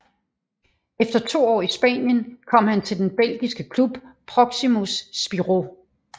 Efter 2 år i Spanien kom han til den belgiske klub Proximus Spirou